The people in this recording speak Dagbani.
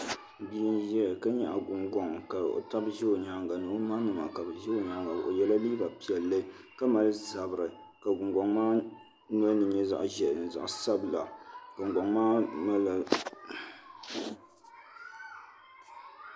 Bia n ʒɛya ka nyaɣa gungoŋ ka o tabi ʒɛ o nyaanga ni o ma nima o yɛla liiga piɛlli ka mali zabiri ka gungoŋ maa nolini nyɛ zaɣ ʒiɛhi mini zaɣ sabila gungoŋ maa malila